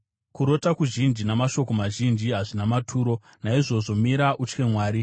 Kurota kuzhinji namashoko mazhinji hazvina maturo. Naizvozvo mira utye Mwari.